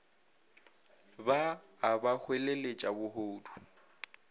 ba a ba hweleletša bohodu